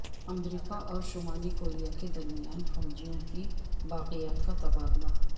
امریکا اور شمالی کوریا کے درمیان فوجیوں کی باقیات کا تبادلہ